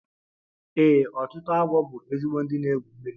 Ee, ọtụtụ agwọ bụ ezigbo ndị na-egwu mmiri